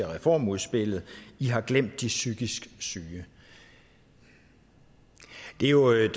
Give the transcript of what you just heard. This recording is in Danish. reformudspil i har glemt de psykisk syge det er jo